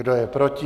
Kdo je proti?